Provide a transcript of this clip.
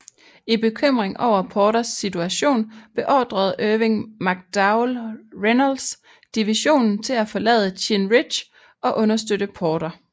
I bekymring over Porters situation beordrede Irvin McDowell Reynolds division til at forlade Chinn Ridge og understøtte Porter